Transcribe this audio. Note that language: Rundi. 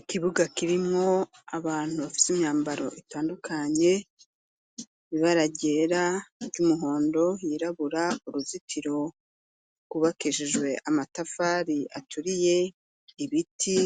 Ikibuga kirimwo abantu bafise imyambaro itandukanye bibararyera ry'umuhondo yirabura uruzitiro gubakeshejwe amatafari aturiye ibiti